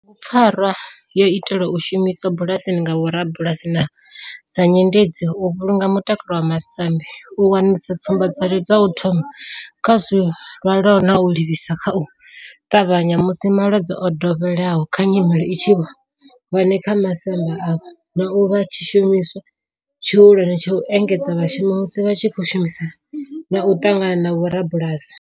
Bugupfarwa yo itelwa u shumiswa bulasini nga vhorabulasi sa nyendedzi u vhulunga mutakalo wa masambi, u wanulusa tsumba dwadzwe dza u thoma kha zwilwalaho na u livhisa nga u tavhanya musi malwadze o dovheleaho kana nyimele i tshi vha hone kha masambi avho, na u vha tshishumiswa tshihulwane tsha u engedzedza vhashumi musi vha tshi khou shumisana na u ṱangana na vhorabulasi.